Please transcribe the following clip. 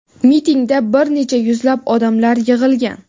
Mitingda bir necha yuzlab odamlar yig‘ilgan.